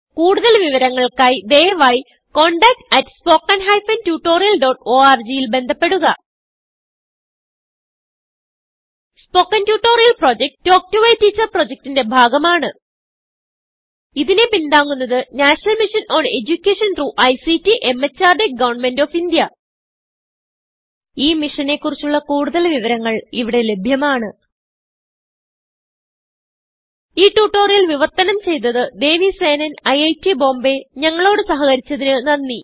കുടുതൽ വിവരങ്ങൾക്കായി ദയവായിcontactspoken tutorialorg ൽ ബന്ധപ്പെടുക spoken tutorial project talk to a teacher പ്രൊജക്റ്റ്ന്റെ ഭാഗമാണ് ഇതിനെ പിന്താങ്ങുന്നത് national mission on education through ICT MHRD government of India ഈ മിഷനെ കുറിച്ചുള്ള കുടുതൽ വിവരങ്ങൾ ഇവിടെ ലഭ്യമാണ് ഈ ട്യൂട്ടോറിയൽ വിവർത്തനം ചെയ്തത് ദേവി സേനൻIIT Bombayഞങ്ങളോട് സഹകരിച്ചതിന് നന്ദി